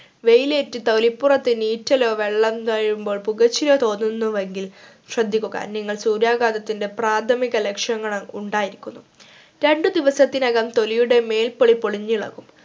വെയിലേറ്റ് തൊലിപുറത്തു നീറ്റലോ വെള്ളം തഴുകുമ്പോൾ പുകച്ചിലോ തോന്നുന്നുവെങ്കിൽ ശ്രദ്ധിക്കുക നിങ്ങൾ സൂര്യാഘാതത്തിന്റെ പ്രാഥമിക ലക്ഷണങ്ങൾ ഉണ്ടായിരിക്കുന്നു രണ്ടു ദിവസത്തിനകം തൊലിയുടെ മേൽപോളി പൊളിഞ്ഞിളകും